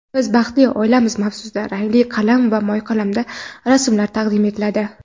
"Biz baxtli oilamiz"-mavzusida rangli qalam va mo‘yqalamda rasmlar taqdim etiladi.